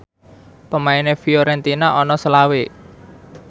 pemaine Fiorentina ana selawe